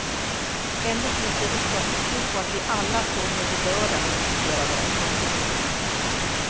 Ändå finns det riksdagsbeslut på att vi alla, från och med i lördags, ska sortera våra sopor.